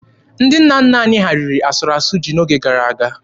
Ndị nna nna anyị ha riri asụrụ asụ ji n'oge gara aga.